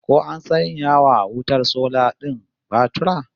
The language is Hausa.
Ko an sanya wa wutar sola din batura?